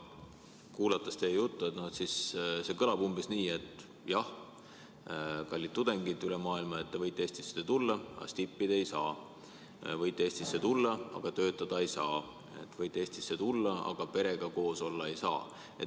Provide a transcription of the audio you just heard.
Kuulates teie juttu, siis see kõlab umbes nii, et jah, kallid tudengid üle maailma, te võite Eestisse tulla, aga stippi te ei saa, võite Eestisse tulla, aga töötada te ei saa, võite Eestisse tulla, aga perega koos siin olla ei saa.